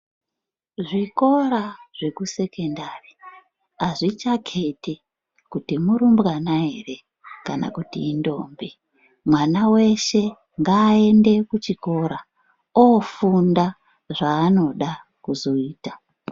Zvikora zvekusekendari azvichakheti kuti murumbwana ere kana kuti indombi. Mwana weshe ngaaende kuchikora ofunda zvaanoda kuzoita.